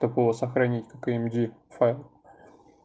такого сохранить как ди файл